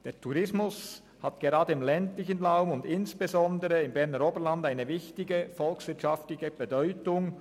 Der Tourismus hat gerade im ländlichen Raum und insbesondere im Berner Oberland eine grosse volkswirtschaftliche Bedeutung.